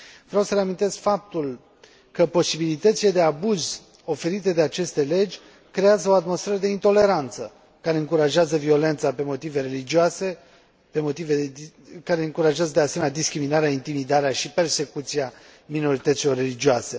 Vreau să reamintesc faptul că posibilitățile de abuz oferite de aceste legi creează o atmosferă de intoleranță, care încurajează violența pe motive religioase, care încurajează, de asemenea, discriminarea, intimidarea și persecuția minorităților religioase.